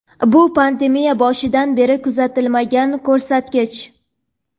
Bu pandemiya boshidan beri kuzatilmagan ko‘rsatkich.